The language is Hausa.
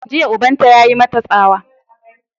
Jiya ubanta ya yi mata tsawa!